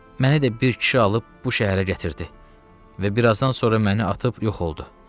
Məni də bir kişi alıb bu şəhərə gətirdi və bir azdan sonra məni atıb yox oldu.